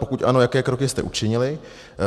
Pokud ano, jaké kroky jste učinili?